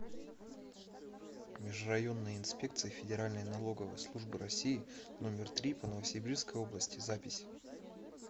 межрайонная инспекция федеральной налоговой службы россии номер три по новосибирской области запись